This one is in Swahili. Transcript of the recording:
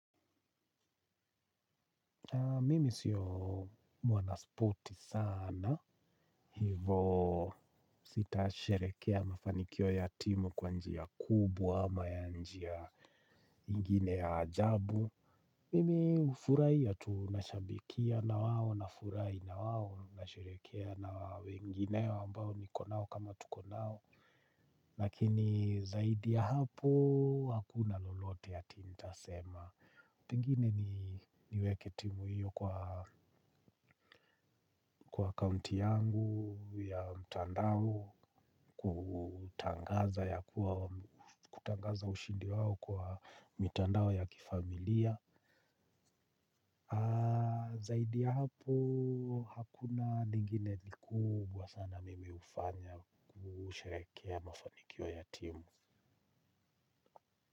Mimi sio mwana spoti sana. Hivo, sitasherekea mafanikio ya timu kwanjia kubwa ama ya njia ingine ya ajabu. Mimi hufurahiya tu nashabikia na wao, nafurahi na wawo, nasherekea na wao wengine ambao nikonao kama tukonao. Lakini zaidi ya hapo, hakuna lolote ati nta sema. Pengine niweke timu hiyo kwa, kwa kaunti yangu ya mtandao, kutangaza ushindi wao kwa mitandao ya kifamilia. Zaidi ya hapo, hakuna lingine likubwa sana mimi hufanya kusherekea mafanikio ya timu.